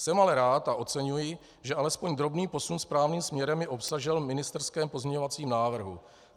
Jsem ale rád a oceňuji, že alespoň drobný posun správným směrem je obsažen v ministerském pozměňovacím návrhu.